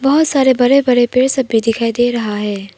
बहुत सारे बड़े बड़े पेड़ सभी दिखाई दे रहा है।